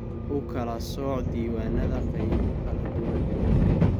U kala sooc diiwaannada qaybo kala duwan.